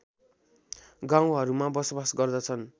गाउँहरूमा बसोवास गर्दछन्